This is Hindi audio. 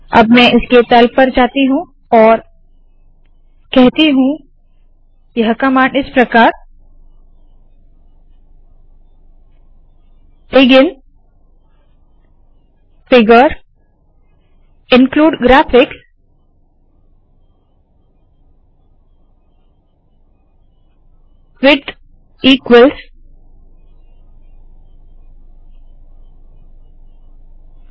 अब में इसके तल पर जाती हूँ और कहती हूँ यह कमांड इस प्रकार है begin figure include graphics width equals